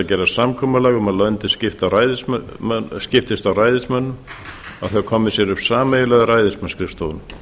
að gera samkomulag um að löndin skiptist á ræðismönnum og að þau komi sér upp sameiginlegum ræðismannsskrifstofum